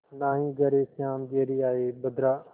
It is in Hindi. नाहीं घरे श्याम घेरि आये बदरा